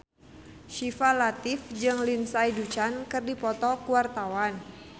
Syifa Latief jeung Lindsay Ducan keur dipoto ku wartawan